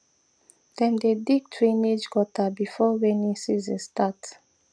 dem dey dig drainage gutter before rainy season start